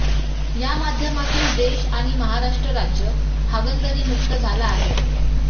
या माध्यमातून देश आणि महाराष्ट्र राज्य हागणदारीमुक्त झाला आहे